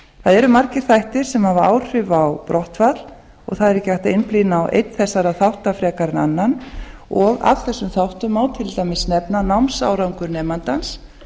það eru margir þættir sem hafa áhrif á brottfall og það er ekki hægt að einblína á einn þessara þátta frekar en annan og af þessum þáttum má til dæmis nefna að námsárangur nemandans